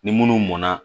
Ni minnu mɔn na